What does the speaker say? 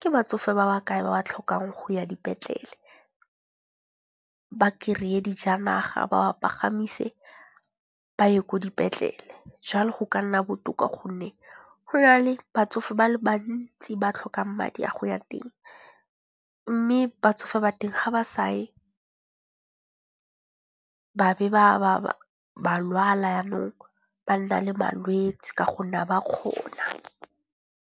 ke batsofe ba ba kae ba ba tlhokang go ya dipetlele. Ba kry-e dijanaga, ba ba pagamise, ba ye ko dipetlele. Jalo go ka nna botoka gonne go na le batsofe ba le bantsi ba tlhokang madi a go ya teng mme batsofe ba teng ga ba sa ye ba be ba lwala yanong ba nna le malwetsi ka gonne ga ba kgona.